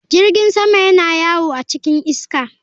Jirgin sama yana yawo a cikin iska.